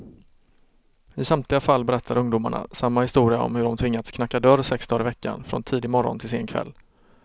I samtliga fall berättar ungdomarna samma historia om hur de tvingats knacka dörr sex dagar i veckan, från tidig morgon till sen kväll.